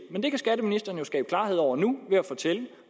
skatteministeren jo skabe klarhed over nu ved at fortælle